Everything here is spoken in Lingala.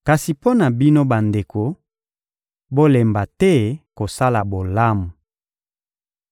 Kasi mpo na bino bandeko, bolemba te kosala bolamu.